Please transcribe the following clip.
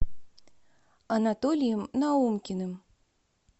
анатолием наумкиным